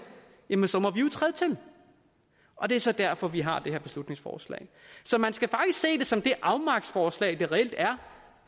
jamen så må vi jo træde til og det er så derfor vi har det her beslutningsforslag så man skal faktisk se det som det afmagtsforslag det reelt er